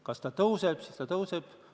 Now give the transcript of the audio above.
Kas see summa kasvab?